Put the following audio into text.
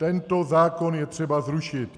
Tento zákon je třeba zrušit.